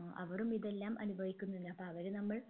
ഏർ അവരും ഇതെല്ലാം അനുഭവിക്കുന്നല്ലോ അപ്പോ അവര് നമ്മൾ